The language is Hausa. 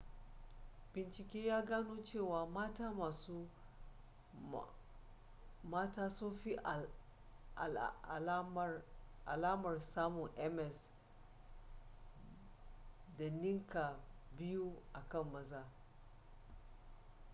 bincike ya gano cewa mata sun fi alamar samun ms da ninka biyu a kan maza